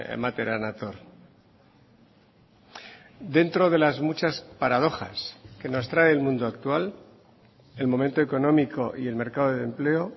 ematera nator dentro de las muchas paradojas que nos trae el mundo actual el momento económico y el mercado de empleo